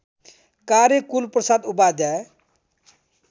कार्य कुलप्रसाद उपाध्याय